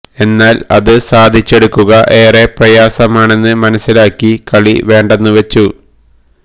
എന്നാൽ അത് സാധിച്ചെടുക്കുക ഏറെ പ്രയാസമാണെന്ന് മനസ്സിലാക്കി കളി വേണ്ടെന്ന് വച്ചു